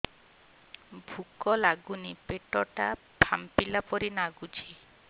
ଭୁକ ଲାଗୁନି ପେଟ ଟା ଫାମ୍ପିଲା ପରି ନାଗୁଚି